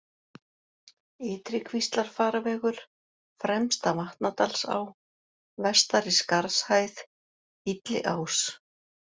Ytrikvíslarfarvegur, Fremsta-Vatnadalsá, Vestari-Skarðshæð, Illiás